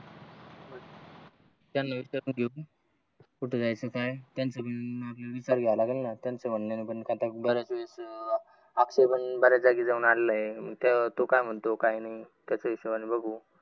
बऱ्याच जागी जाऊन आलेलें आहे तो का म्हणतो काय नाही त्याच्या हिशोबणे बघू